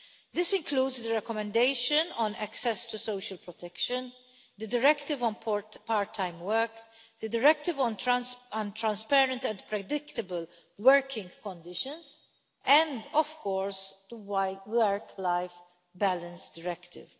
This includes the recommendation on access to social protection, the Directive on Part Time Work, the Directive on Transparent and Predictable Working Conditions, and, of course, the Work Life Balance Directive.